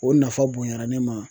O nafa bonyara ne ma.